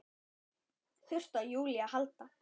Þurfti á Júlíu að halda.